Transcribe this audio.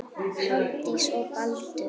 Hafdís og Baldur.